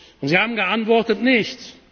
Und Sie haben geantwortet Nichts.